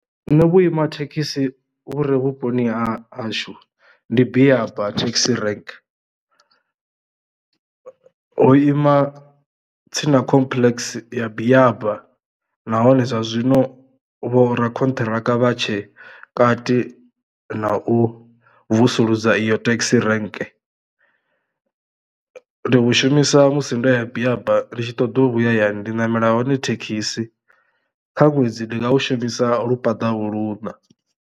Nṋe vhuima thekhisi vhure vhuponi ha hashu ndi Biaba thekhisi rank, ho ima tsini na complex ya Biaba nahone zwa zwino vho ra konṱhiraka vhatshe kati na u vusuludza iyo taxi rank. Ndi vhu shumisa musi ndo ya biaba ri tshi ṱoḓa u vhuya ndi namela hone thekhisi kha ṅwedzi ndi nga u shumisa lu luṋa.